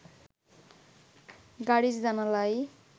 গাড়ির জানালায়